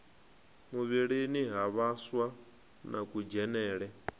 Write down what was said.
muvhilini ha vhaswa na kudzhenele